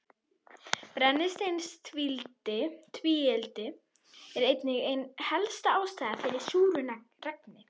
Brennisteinstvíildi er einnig ein helsta ástæðan fyrir súru regni.